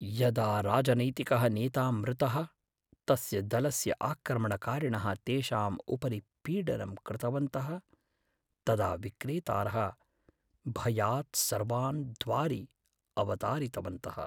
यदा राजनैतिकः नेता मृतः, तस्य दलस्य आक्रमणकारिणः तेषाम् उपरि पीडनं कृतवन्तः । तदा विक्रेतारः भयात् सर्वान् द्वारि अवतारितवन्तः।